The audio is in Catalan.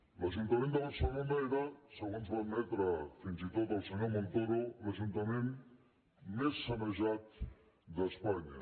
l’ajuntament de barcelona era segons va admetre fins i tot el senyor montoro l’ajuntament més sanejat d’espanya